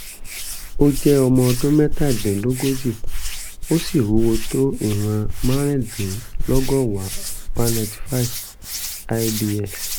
ó jẹ́ ọmọ ọdún mẹ́tàdínlógójì ó sì wúwo tó ìwọ̀n márùndínlọ́gọ́wàá (195) lbs